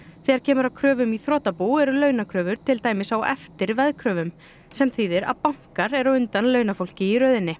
þegar kemur að kröfum í þrotabú eru launakröfur til dæmis á eftir veðkröfum sem þýðir að bankar eru á undan launafólki í röðinni